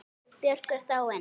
Björk er dáin.